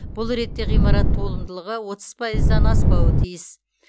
бұл ретте ғимарат толымдылығы отыз пайыздан аспауы тиіс